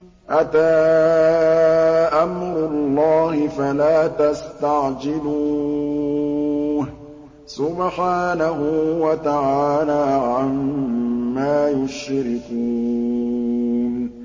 أَتَىٰ أَمْرُ اللَّهِ فَلَا تَسْتَعْجِلُوهُ ۚ سُبْحَانَهُ وَتَعَالَىٰ عَمَّا يُشْرِكُونَ